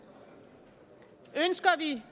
ønsker vi